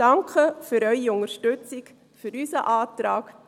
Danke für Ihre Unterstützung für unseren Antrag